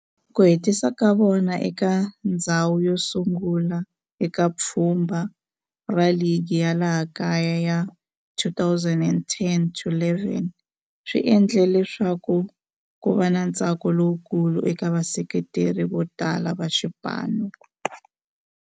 Ku hetisa ka vona eka ndzhawu yosungula eka pfhumba ra ligi ya laha kaya ya 2010-11 swi endle leswaku kuva na ntsako lowukulu eka vaseketeri votala va xipano.